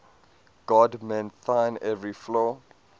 god mend thine every flaw